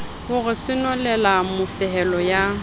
ho re senolela mofehelo ya